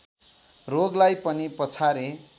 रोगलाई पनि पछारे